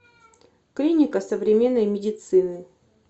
клиника современной медицины